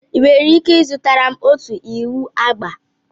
Ị nwere ika i zutara ọtụ iwụ agba?